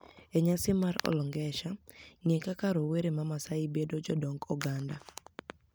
E niyasi mar Olnigesher: nig'e kaka rowere ma MaSaai bedo jodonig oganida